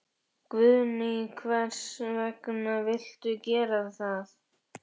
Guðný: Hvers vegna viltu gera það?